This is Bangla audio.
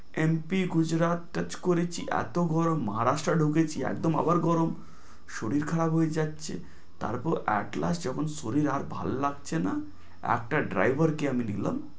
এমপি গুজরাট touch করেছি এত গরম, মহারাষ্ট্র ঢুকেছি একদম আবার গরম শরীর খারাপ হয়ে যাচ্ছে, তারপর at last যখন শরীর আর ভালো লাগছে না এক driver কে আমি নিলাম।